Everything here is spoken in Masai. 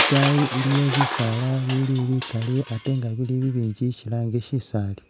itaayi iliyo bisaala bili bikali ate nga bili bibinji shilanga shisaali